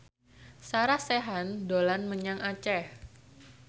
Sarah Sechan dolan menyang Aceh